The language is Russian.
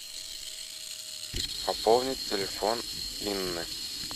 пополнить телефон инны